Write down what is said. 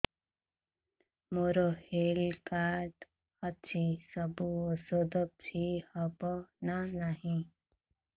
ମୋର health card ଅଛି ସବୁ ଔଷଧ ଫ୍ରି ହବ ନା ନାହିଁ